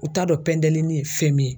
U t'a dɔn pɛntɛlinin ye fɛn min ye